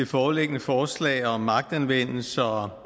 det foreliggende forslag om magtanvendelse og